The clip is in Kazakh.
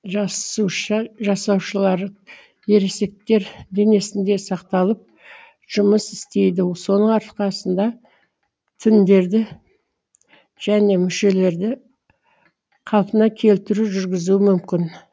жасуша жасуашалары ересектер денесінде сақталып жұмыс істейді соның арқасында тіндерді және мүшелерді қалпына келтіру жүргізуі мүмкін